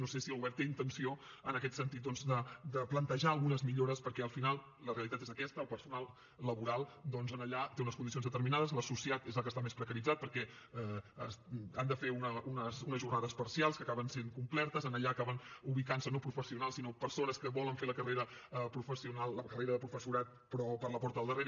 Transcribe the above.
no sé si el govern té intenció en aquest sentit de plantejar algunes millores perquè al final la realitat és aquesta el personal laboral doncs allà té unes condicions determinades l’associat és el que està més precaritzat perquè han de fer unes jornades parcials que acaben sent completes allà acaben ubicant se no professionals sinó persones que volen fer la carrera de professorat però per la porta del darrere